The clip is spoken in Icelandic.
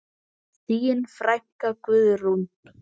Þín frænka, Guðrún.